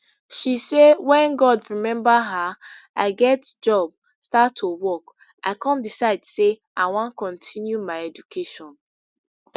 she say wen god remember her i get job start to work i come decide say i wan kontinu my education